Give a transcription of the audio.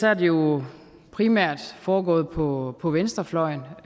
er det jo primært foregået på på venstrefløjen